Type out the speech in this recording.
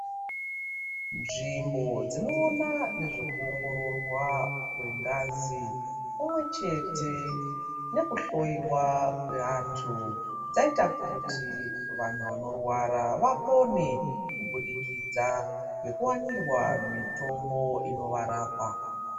Nzvimbo dzinoona nezvekuongororwa kwengazi pamwechete nekuhloiwa kwevantu zvaita kuti vanhu vanorwara vapone kubudikidza ngekuwainirwa mitombo inovarapa.